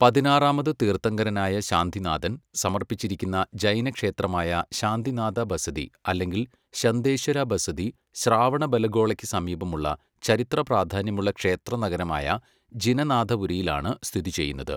പതിനാറാമത് തീർത്ഥങ്കരനായ ശാന്തിനാഥൻ സമർപ്പിച്ചിരിക്കുന്ന ജൈന ക്ഷേത്രമായ ശാന്തിനാഥ ബസദി അല്ലെങ്കിൽ ശന്തേശ്വര ബസദി ശ്രാവണബെലഗോളയ്ക്ക് സമീപമുള്ള ചരിത്രപ്രാധാന്യമുള്ള ക്ഷേത്ര നഗരമായ ജിനനാഥപുരയിലാണ് സ്ഥിതിചെയ്യുന്നത്.